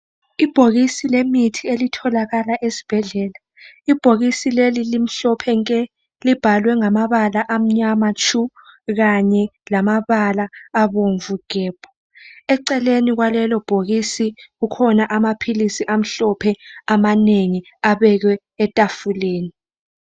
Ibhokisi lemithi eliitholakala esibhedlela. Ibhokisi leli limhlophe nke libhalwe ngamabala amnyama tshu kanye lamabala abomvu gebhu Eceleni kwalelo bhokisi kukhona amaphilisi amhlophe amanengi abekwe etafuleni